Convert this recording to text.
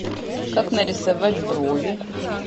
как нарисовать брови